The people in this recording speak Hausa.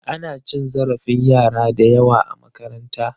Ana cin zarafin yara da yawa a makaranta.